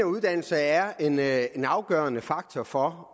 uddannelse er er en afgørende faktor for